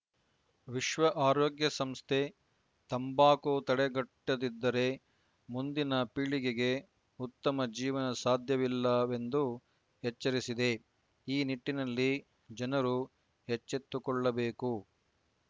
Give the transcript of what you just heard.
ವಿಶ್ವ ಆರೋಗ್ಯ ಸಂಸ್ಥೆ ತಂಬಾಕು ತಡೆಗಟ್ಟದಿದ್ದರೆ ಮುಂದಿನ ಪೀಳಿಗೆಗೆ ಉತ್ತಮ ಜೀವನ ಸಾಧ್ಯವಿಲ್ಲವೆಂದು ಎಚ್ಚರಿಸಿದೆ ಈ ನಿಟ್ಟಿನಲ್ಲಿ ಜನರು ಎಚ್ಚೆತ್ತುಕೊಳ್ಳಬೇಕು